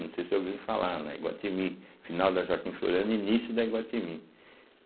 Não sei se ouviram falar, na Iguatimi, final da Joaquim Floriano e início da Iguatimi.